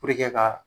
ka